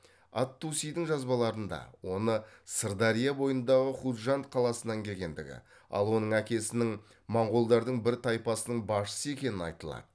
ат тусидің жазбаларында оны сырдария бойындағы хужанд қаласынан келгендігі ал оның әкесінің моңғолдардың бір тайпасының басшысы екені айтылады